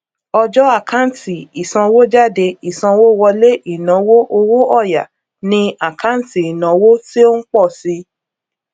ọjọ àkántì ìsanwójáde ìsanwówọlé ìnáwó owó òya ni àkáǹtì ìnáwó tí ó ń pọ si